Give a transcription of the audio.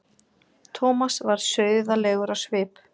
Thomas varð sauðalegur á svip.